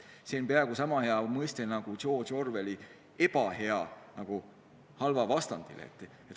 See on peaaegu sama hea mõiste nagu Orwelli "ebahea" halva vastena.